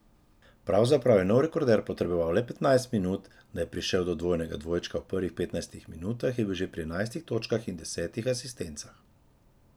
Pravzaprav je nov rekorder potreboval le petnajst minut, da je prišel do dvojnega dvojčka v prvih petnajstih minutah je bil že pri enajstih točkah in desetih asistencah.